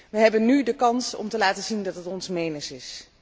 We hebben nu de kans om te laten zien dat het ons menens is.